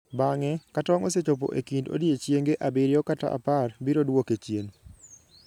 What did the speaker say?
Bang'e, ka tong ' osechopo e kind odiechienge abiriyo kata apar biro duoke chien.